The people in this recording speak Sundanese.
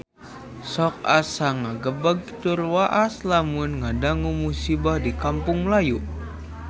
Sok asa ngagebeg tur waas lamun ngadangu musibah di Kampung Melayu